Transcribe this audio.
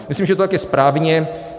Myslím, že to tak je správně.